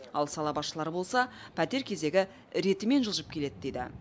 ал сала басшылары болса пәтер кезегі ретімен жылжып келеді дейді